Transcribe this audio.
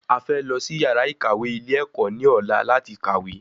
A fẹ́ lọ sí yàrá ìkàwé ilé ẹ̀kọ́ ní ọ̀la láti kàwé